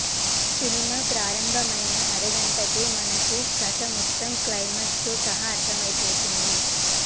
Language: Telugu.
సినిమా ప్రారభమైన అరగంటకే మనకు కథ మొత్తం క్లైమాక్స్ తో సహా అర్దమైపోతుంది